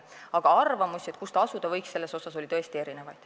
Aga arvamusi, kes seda teha võiks, oli tõesti erinevaid.